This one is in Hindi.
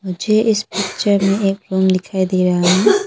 मुझे इस पिक्चर में एक रूम दिखाई दे रहा है।